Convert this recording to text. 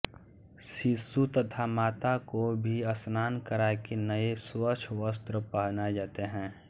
शिशु तथा माता को भी स्नान कराके नये स्वच्छ वस्त्र पहनाये जाते हैं